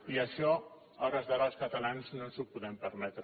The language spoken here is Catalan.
i això a hores d’ara els catalans no ens ho podem permetre